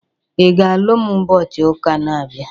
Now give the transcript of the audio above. Ị ga-alụ m ụbọchị ụka na-abịa?